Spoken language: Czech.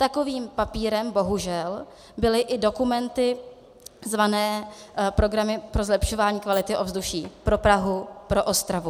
Takovým papírem bohužel byly i dokumenty zvané programy pro zlepšování kvality ovzduší pro Prahu, pro Ostravu.